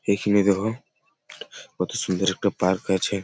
এখানে দেখো কত সুন্দর একটা পার্ক আছে।